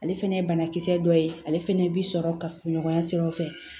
Ale fɛnɛ ye banakisɛ dɔ ye ale fɛnɛ bi sɔrɔ ka fuɲɔgɔnya siraw fɛ